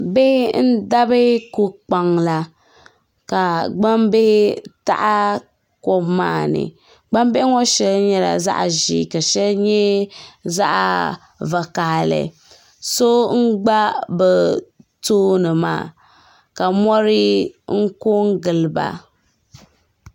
Bihi n dabi ko kpaŋa la ka gbaŋ bihi taɣi kom maa ni gbaŋ bihi ŋɔ shɛli nyɛla zaɣi zɛɛ ka syɛli nyɛ vakahali so n gba bi tooni maa ka mori n ko n gili ba .